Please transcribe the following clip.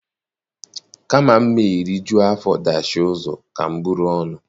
Kama m rijuo afọ dachie ụzọ, ka m buru ọnụ